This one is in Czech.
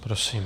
Prosím.